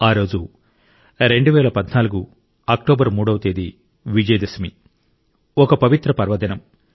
ఆరోజు 2014 అక్టోబరు 3వ తేదీ విజయదశమి ఒక పవిత్ర పర్వదినం